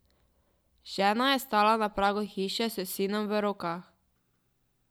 Žena je stala na pragu hiše s sinom v rokah.